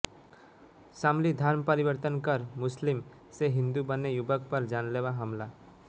शामलीः धर्म परिवर्तन कर मुस्लिम से हिंदू बने युवक पर जानलेवा हमला